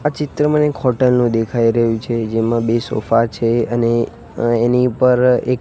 આ ચિત્ર મને એક હોટલ નો દેખાઈ રહ્યું છે જેમાં બે સોફા છે અને એની પર એક--